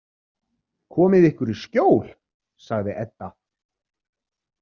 Komið ykkur í skjól, sagði Edda.